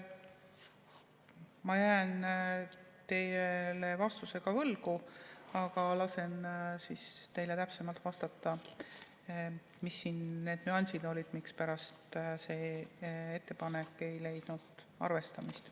Ma jään teile vastuse võlgu, aga lasen teile täpsemalt vastata, mis siin need nüansid olid, mispärast see ettepanek ei leidnud arvestamist.